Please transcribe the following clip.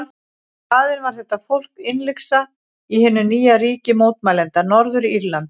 Í staðinn var þetta fólk innlyksa í hinu nýja ríki mótmælenda, Norður-Írlandi.